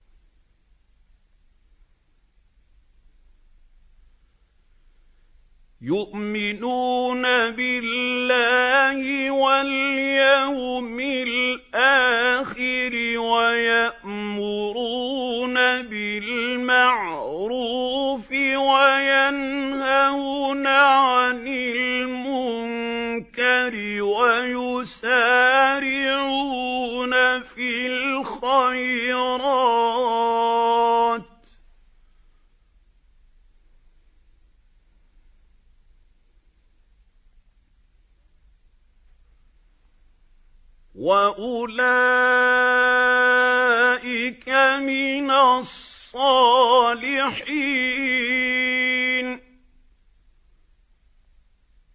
يُؤْمِنُونَ بِاللَّهِ وَالْيَوْمِ الْآخِرِ وَيَأْمُرُونَ بِالْمَعْرُوفِ وَيَنْهَوْنَ عَنِ الْمُنكَرِ وَيُسَارِعُونَ فِي الْخَيْرَاتِ وَأُولَٰئِكَ مِنَ الصَّالِحِينَ